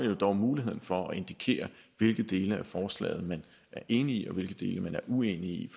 jo dog har muligheden for at indikere hvilke dele af forslaget man er enig i og hvilke dele man er uenig i